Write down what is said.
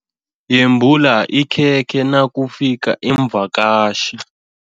Yembula ikhekhe nakufika iimvakatjhi.